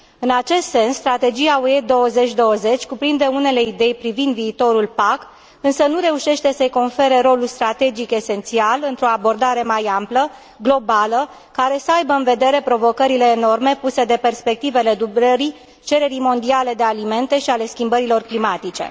În acest sens, Strategia UE 2020 cuprinde unele idei privind viitorul PAC, însă nu reușește să i confere rolul strategic esențial într o abordare mai amplă, globală, care să aibă în vedere provocările enorme puse de perspectivele dublării cererii mondiale de alimente și ale schimbărilor climatice.